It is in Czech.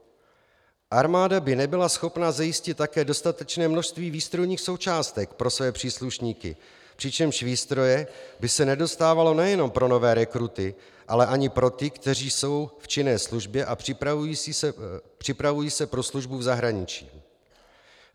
Armáda by nebyla schopna zajistit také dostatečné množství výstrojních součástek pro své příslušníky, přičemž výstroje by se nedostávalo nejenom pro nové rekruty, ale ani pro ty, kteří jsou v činné službě a připravují se pro službu v zahraničí.